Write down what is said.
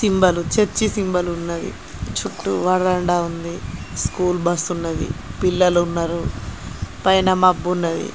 Symbol church symbol ఉన్నది. చుట్టు వరండా ఉంది. స్కూల్ బస్సు ఉన్నది. పిల్లలు ఉన్నారు. పైన మబ్బు ఉన్నది.